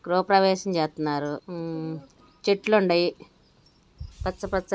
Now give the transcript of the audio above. గృహప్రవేశం చేతన్నారు. చెట్లున్నాయి. పచ్చ పచ్చ--